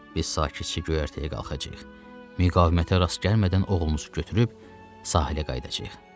Biz qayığın kiçik göyərtəyə qalxacağıq, müqavimətə rast gəlmədən oğlunuzu götürüb sahilə qayıdacağıq.